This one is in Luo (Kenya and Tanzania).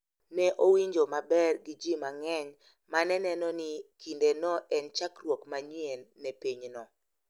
Ne owinjo maber gi ji mang’eny ma ne neno ni kindeno en chakruok manyien ne pinyno.